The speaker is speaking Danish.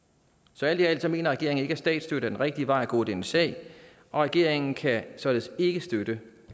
så alt i alt mener regeringen ikke at statsstøtte er den rigtige vej at gå i denne sag og regeringen kan således ikke støtte